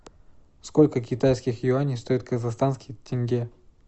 сколько китайских юаней стоит казахстанский тенге